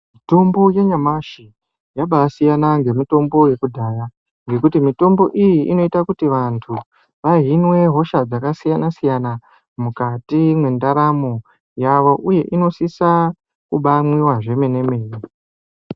Mitombo yanyamashi yabaasiyana ngemitombo yekudhaya ngekuti mitombo iyi inoita kuti vantu vahinwe hosha dzakasiyana-siyana mukati mwendaramo yavo. Uye inosisa kubaamwiwa zvomene-mene.